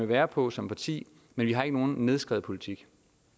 være på som parti men vi har ikke nogen nedskrevet politik